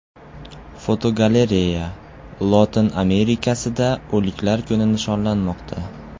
Fotogalereya: Lotin Amerikasida O‘liklar kuni nishonlanmoqda.